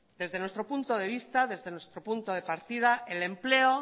desde nuestro punto de vista desde nuestro punto de partida el empleo